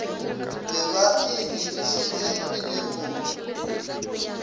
be ba e dirišetše dinepong